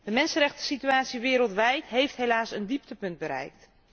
De mensenrechtensituatie wereldwijd heeft helaas een dieptepunt bereikt.